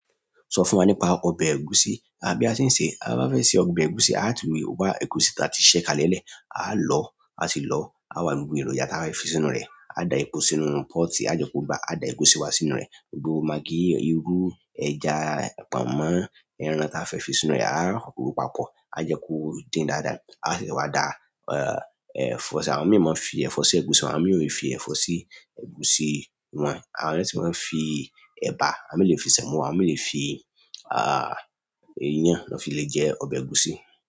Sọ fún wa nípa ọbẹ̀ ẹ̀gúsí. Bi a ṣe ń sèé báa bá fẹ́ se ọbẹ̀ ẹ̀gúsí, a tún rí wá ẹ̀gúsí ta ti ṣẹ kalẹ̀ lẹ̀, aá lọ̀ọ́, a sì lọ, aá wà lo gbogbo èròjà táa bá fẹ́ fi sínú rẹ̀. Aá da epo sínú pot, aá jẹ́ kó gbá, aá da ẹ̀gúsí wa sínú rẹ̀. Gbogbo magí, irú, ẹja, pọ̀nmọ́, ẹran táa fẹ́ fi sínú rẹ̀. Aá ròó papọ̀, a jẹ kó dín dáadáa, a sì wá da, eh, ẹ̀fọ́, àwọn mìíràn máa ń fi ẹ̀fọ́ sí ẹ̀gúsí, àwọn mìíràn ò fi ẹ̀fọ́ sí ẹ̀gúsí wọn. Àwọn mìíràn sí máa ń fi ẹ̀bà, àwọn míì lè fi sẹ̀mó, àwọn míì lè fi iyán, l'ọ́n fi le jẹ ọbẹ̀ ẹ̀gúsí.